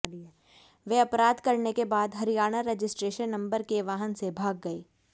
वे अपराध करने के बाद हरियाणा रजिस्ट्रेशन नंबर के वाहन से भाग गए